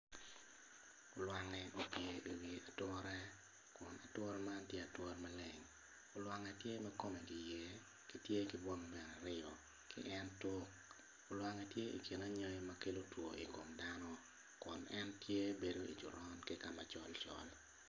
Lwangi opye iwi ature kun ature man tye ature maleng lwangi tye ma kome kiyer ki tye ki bwome bene aryo en tuk olwangi tye i kin anyangi ma kelo two i kom dano kun en tye bedo i coron ki ka ma col col.